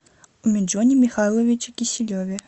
умиджоне михайловиче киселеве